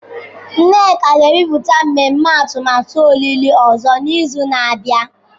Nneka ga-ebipụta mmemme atụmatụ olili ozu n'izu na-abịa.